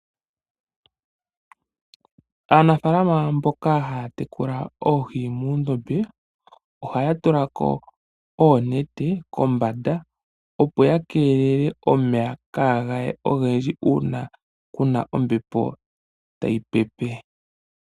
Aanafaalama mboka haya tekula oohi muundombe, oha ya tulako oonete kombanda opo ya keelele omeya kaagaye ogendji uuna kuna ombepo ta yi pepe.